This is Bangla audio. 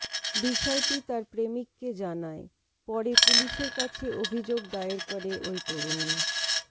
বিষয়টি তার প্রেমিককে জানায় পরে পুলিশের কাছে অভিযোগ দায়ের করে ওই তরুণী